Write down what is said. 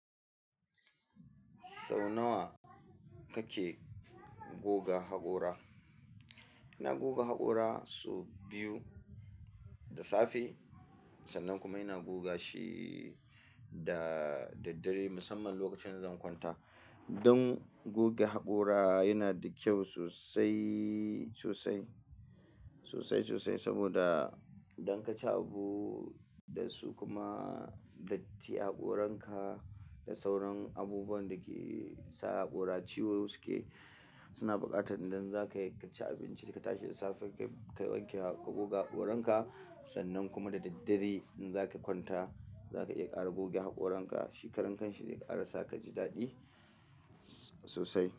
Sau nawa kake goga haƙora? Ina goga haƙora sau biyu da safe sannan kuma ina goga shi da daddare musamman lokacin da zan kwanta. Don goge haƙora yana da kyau sosai, sosai, sosai, sosai saboda idan ka ci abu da su kuma datti haƙoranka da sauran abubuwan da ke sa haƙora ciwo suke, suna buƙatar idan zaka iya ka ci abinci da ka tashi da safe kai wanke ka goga haƙoranka sannan kuma da daddare in zaka kwanta zaka iya ƙara goge haƙoranka. Shi karan kanshi ne ƙara sa ka ji daɗi sosai.